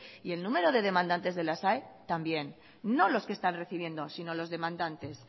y el número de demandantes de las aes también no los que está recibiendo sino los demandantes